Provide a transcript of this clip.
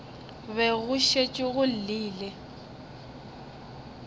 be go šetše go llile